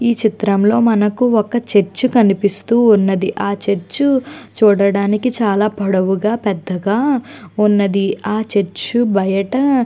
ఈ చిత్రంలో మనకు ఒక చర్చ్ కనిపిస్తూ ఉన్నది ఆ చర్చ్ చూడడానికి చాలా పొడవుగా పెద్దగా ఉన్నది. ఆ చర్చ్ బయట --